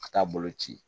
Ka taa bolo ci